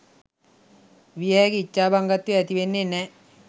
විය හැකි ඉච්ඡාභංගත්වය ඇතිවෙන්නේ නෑ.